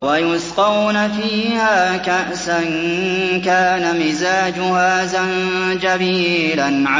وَيُسْقَوْنَ فِيهَا كَأْسًا كَانَ مِزَاجُهَا زَنجَبِيلًا